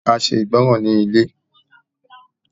A ṣe ìgbọràn ní ilé.